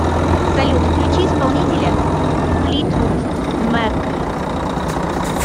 салют включи исполнителя флитвуд мэк